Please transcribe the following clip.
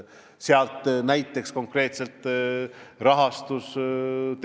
Sealt tuli näiteks konkreetselt see rahastus.